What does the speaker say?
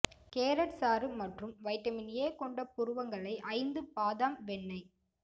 carrot சாறு மற்றும் vitamin A கொண்ட புருவங்களை ஐந்து பாதாம் வெண்ணெய்